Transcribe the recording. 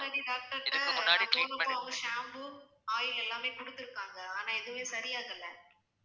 இதுக்கு முன்னாடி doctor ட்ட நான் போனப்போ அவங்க shampoo, oil எல்லாமே குடுத்திருக்காங்க ஆனா எதுவுமே சரியாகலை